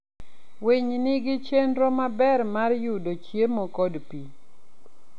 Winy nigi chenro maber mar yudo chiemo kod pi.